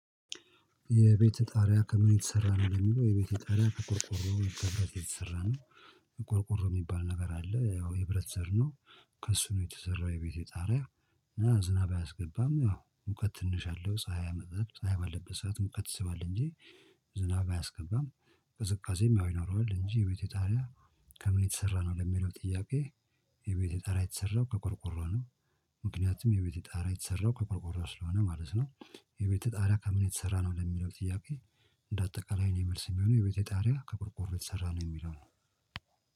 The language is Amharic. የቤት ጣሪያ ከምን የተሰራ ነው ለሚለው የቤቴ ጣሪያ ከቆርቆሮ የተሰራ ነው። ቆርቆሮ ሚባል ነገር አለ ያው የብረት ዘር ነው። ከእሱ ነው የተሰራው የቤቴ ጣሪያ። እና ዝናብ አያስገባም ያው ሙቀት ትንሽ አለው ፀሀይ አይመጥም ፀሀይ ባለበት ሰዓት ሙቀት ይስባል እንጂ ዝናብ አያስገባም። ቅዝቃዜም ያው ይኖረዋል እንጂ የቤቴ ጣሪያ። ከምን የተሰራ ነው ለሚለው ጥያቄ። የቤቴ ጣሪያ የተሰራው ከቆርቆሮ ነው። ምክንያቱም የቤቴ ጣሪያ የተሰራው ከቆርቆሮ ስለሆነ ማለት ነው። የቤት ጣሪያ ከምን የተሰራ ነው ለሚለው ጥያቄ። እንደ አጠቃላይ የኔ መልስ የሚሆነው የቤቴ ጣሪያ ከቆርቆሮ የተሰራ ነው የሚለው ነው